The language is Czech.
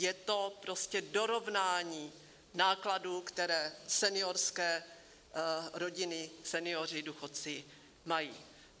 Je to prostě dorovnání nákladů, které seniorské rodiny, senioři, důchodci mají.